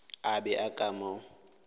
a be a ka mo